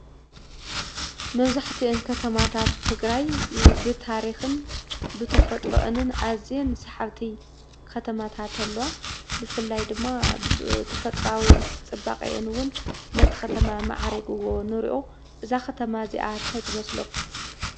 መብዛሕትአን ከተማታት ትግራይ ብታሪክን ብተፈጥሮአንን አዝየን ሰሓብቲ ከተማታት አለዋ። ብፍላይ ድማ ተፍጥሮአዊ ፅባቀን እውን ነቲ ከተማ አማዕሪግዎ ንሪኦ። እዛ ከተማ እዚአ ታይ ትመስለኩም?